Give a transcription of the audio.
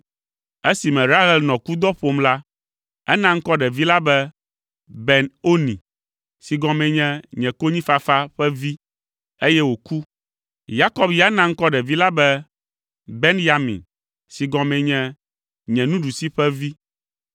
Esime Rahel nɔ kudɔ ƒom la, ena ŋkɔ ɖevi la be, “Ben Oni” si gɔmee nye “Nye Konyifafa ƒe Vi,” eye wòku. Yakob ya na ŋkɔ ɖevi la be “Benyamin” si gɔmee nye “Nye Nuɖusi ƒe Vi.”